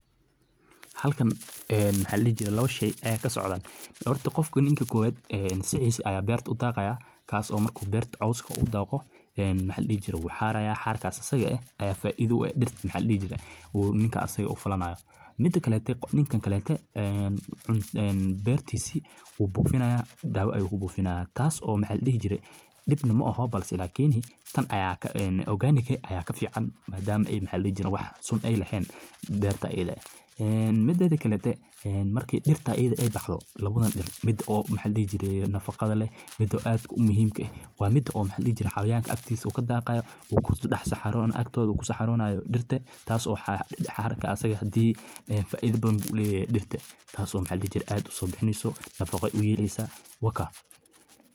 halkan een maxa la dihi jiray labo shay ee ka socdaan sababta qofka ninka koowaad ee sicisa ayaa beerta u daaqayaa kaasoo markuu beerta awska uu daaqo een maxa la dihi jire uu xaraya. xarkas asiga eeh ayaa faa-iido ay dhirta maxa la dihi jire uu ninkaasi u falanayo midda kalatay qof ninka kale ka een xuseen uu bofinayaa daawo ay u buufinayaan taas oo maxaa la dhihi jiray dhibna ma aha balse laakiin tan ayaa organic ayaa ka fiican maadaama ay macallin wax cusub ay lahayn beerta edha leh een midada kale markii dhirtaa iyada ay dhacdo labada dhinac mid oo maxadi jiray nafaqada leh oo aada u muhiimka waa midda oo xallin xaliyaanka agtiisa uu ka daaqayo uu ku dhex saxaro agtooda ku saxaronayo dhirta taas oo xarka asaga hadi faa ida badan buu leyaa dhirta oo maxa la dihi jire aad uso bihineyso nafaqo uyeleyso.